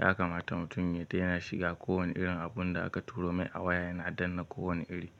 Yakamata mutum ya daina shiga kowane irin abun da aka turo mai a waya yana dana ko wane iri.